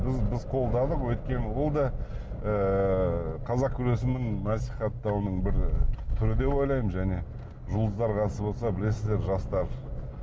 біз біз қолдадық өйткені ол да ыыы қазақ күресінің насихаттауының бір түрі деп ойлаймын және жұлдыздар қатысып отырса білесіздер жастар